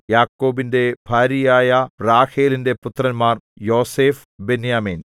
യാക്കോബിന്റെ ഭാര്യയായ റാഹേലിന്റെ പുത്രന്മാർ യോസേഫ് ബെന്യാമീൻ